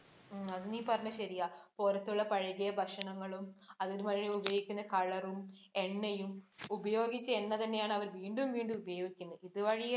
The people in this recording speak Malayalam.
ഉം അത് നീ പറഞ്ഞ ശരിയാ. പൊറത്തുള്ള പഴകിയ ഭക്ഷണങ്ങളും, അതിനുവേണ്ടി ഉപയോഗിയ്ക്കുന്ന കളറും, എണ്ണയും, ഉപയോഗിച്ച എണ്ണ തന്നെയാണ് അവര് വീണ്ടും വീണ്ടും ഉപയോഗിക്കുന്നത്. ഇതുവഴി